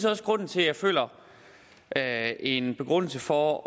også grunden til at jeg føler at der er en begrundelse for